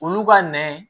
Olu ka nɛ